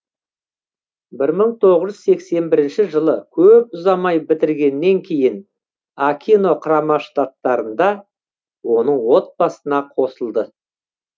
бір мың тоғыз жүз сексен бірінші жылы көп ұзамай бітіргеннен кейін акино құрама штаттарында оның отбасына қосылды